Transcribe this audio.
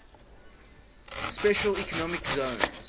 special economic zones